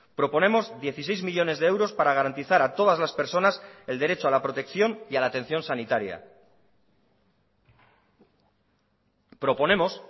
proponemos dieciséis millónes de euros para garantizar a todas las personas el derecho a la protección y a la atención sanitaria proponemos